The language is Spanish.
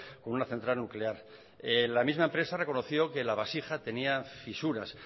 con una central nuclear la misma empresa reconoció que la vasija tenía fisuras